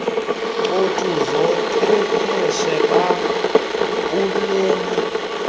ncothu zochwepheshe babulela